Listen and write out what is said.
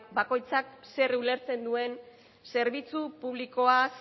bakoitzak zer ulertzen duen zerbitzu publikoaz